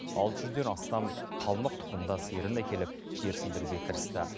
алты жүзден астам қалмық тұқымды сиырын әкеліп жерсіндіруге кірісті